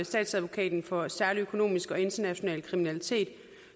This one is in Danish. statsadvokaten for særlig økonomisk og international kriminalitet